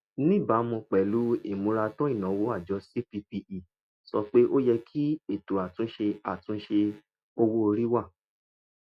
níbàámu pẹ̀lú ìmúratán ìnáwó àjọ cppe sọ pé ó yẹ kí ètò àtúnṣe àtúnṣe owó orí wà